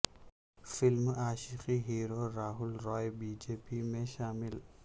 film Aashiqui hero Rahul Roy BJP میں شامل